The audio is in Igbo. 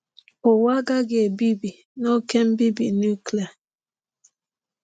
Ụwa agaghị ebibi n’oké mbibi nuklia.